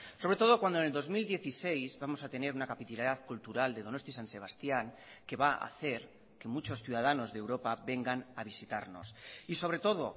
sobre todo cuando en el dos mil dieciséis vamos a tener una capitalidad cultural de donosti san sebastián que va a hacer que muchos ciudadanos de europa vengan a visitarnos y sobre todo